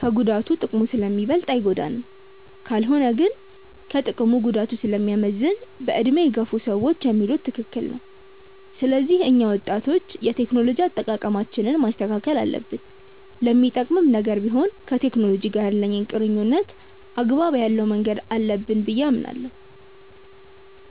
ከጉዳቱ ጥቅሙ ስለሚበልጥ አይጎዳንም። ካልሆነ ግን ከጥቅሙ ጉዳቱ ስለሚያመዝን በዕድሜ የገፉ ሰዎች የሚሉት ትክክል ነው። ስለዚህ እኛ ወጣቶች የቴክኖሎጂ አጠቃቀማችንን ማስተካከል አለብን። ለሚጠቅምም ነገር ቢሆን ከቴክኖሎጂ ጋር ያለንን ቁርኝነት አግባብ ያለው ማድረግ አለብን ብዬ አስባለሁ።